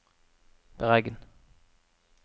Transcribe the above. beregn